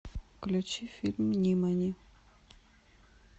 включи фильм нимани